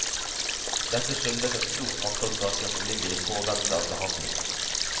Dette skyldes et stort antall saker som ligger i påvente av behandling.